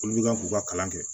Olu bɛ ka k'u ka kalan kɛ